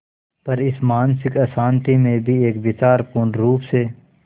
पर इस मानसिक अशांति में भी एक विचार पूर्णरुप से